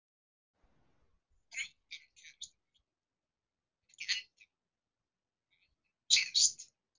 Á frábæran kærasta Börn: Ekki ennþá Hvað eldaðir þú síðast?